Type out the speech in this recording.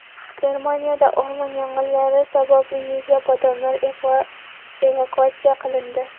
Germaniyada o‘rmon yong‘inlari sababli yuzlab odamlar evakuatsiya qilindi.